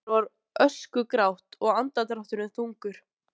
Andlit hennar var öskugrátt og andardrátturinn þungur.